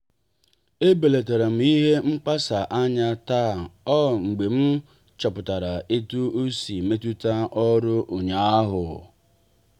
e belatara m ihe mkpasa anya taa ọ mgbe m chọpụtara etu osi metuta ọrụ ụnyaahụ.